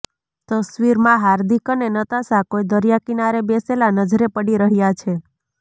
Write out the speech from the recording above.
તસવીરમાં હાર્દિક અને નતાશા કોઈ દરિયા કિનારે બેસેલા નજરે પડી રહ્યાં છે